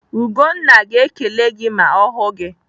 Ugonna ga-ekele gị ma ọ hụ gị.